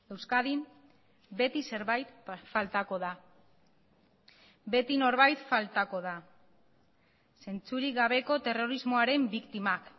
euskadin beti zerbait faltako da beti norbait faltako da zentzurik gabeko terrorismoaren biktimak